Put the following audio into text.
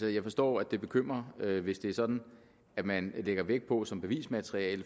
jeg forstår at det bekymrer hvis det er sådan at man lægger vægt på som bevismateriale